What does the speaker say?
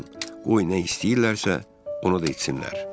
Qoy nə istəyirlərsə, onu da etsinlər.